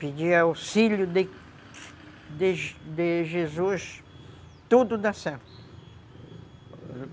Pedia auxílio de de de Jesus, tudo dá certo.